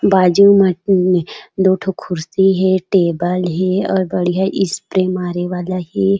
बाजू में दो ठो कुर्सी हे टेबल हे और बढ़िया स्प्रे मारे वाला हे।